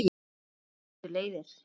En svo skildu leiðir.